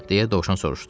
– deyə dovşan soruşdu.